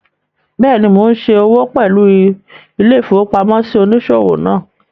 Bẹ́ẹ̀ni, mo n ṣe òwò pẹ̀lú ilé-ìfowópamósí òníṣòwò náà